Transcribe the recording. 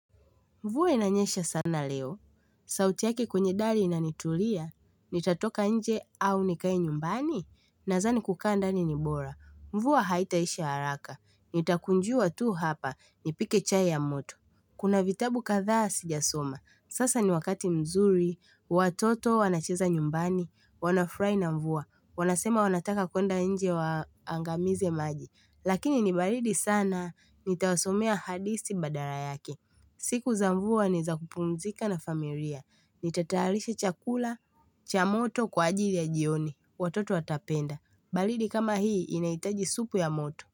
Mvua inanyesha sana leo. Sauti yake kwenye dari inanitulia. Nitatoka nje au nikae nyumbani. Nazani kukaa ndani ni bora. Mvua haitaisha haraka. Nitakunjua tu hapa. Nipike chai ya moto. Kuna vitabu kadhaa sijasoma. Sasa ni wakati mzuri. Watoto wanacheza nyumbani. Wanafurahi na mvua. Wanasema wanataka kuenda nje waangamize maji. Lakini ni baridi sana. Nitawasomea hadisi badala yaki. Siku za mvua ni za kupumzika na familia. Nitatayarisha chakula cha moto kwa ajili ya jioni. Watoto watapenda. Baridi kama hii inahitaji supu ya moto.